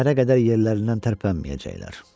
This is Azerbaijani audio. Səhərə qədər yerlərindən tərpənməyəcəklər.